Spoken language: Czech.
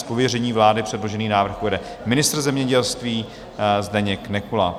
Z pověření vlády předložený návrh uvede ministr zemědělství Zdeněk Nekula.